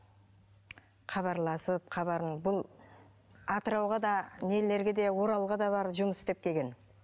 хабарласып хабарын бұл атырауға да нелерге де оралға да барып жұмыс істеп келген